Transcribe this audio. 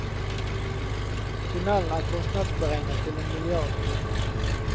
Tunnelen er kostnadsberegnet til en milliard kroner.